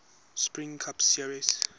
sprint cup series